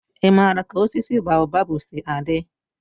ị maara ka osisi baobabu si adị?